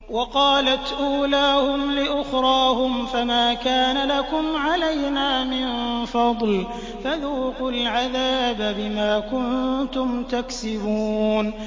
وَقَالَتْ أُولَاهُمْ لِأُخْرَاهُمْ فَمَا كَانَ لَكُمْ عَلَيْنَا مِن فَضْلٍ فَذُوقُوا الْعَذَابَ بِمَا كُنتُمْ تَكْسِبُونَ